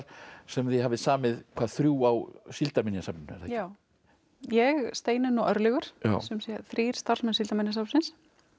sem þið hafið samið hvað þrjú á Síldarminjasafninu já ég Steinunn og Örlygur þrír starfsmenn Síldarminjasafnsins